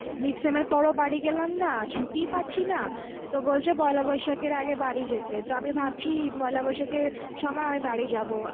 midsem এর পরও বাড়ি গেলাম না ছুটিই পাচ্ছি না, তো বলছে পয়লা বৈশাখ এর আগে বাড়ি যেতে, তো আমি ভাবছি পয়লা বৈশাখে সময় আমি বাড়ি যাবো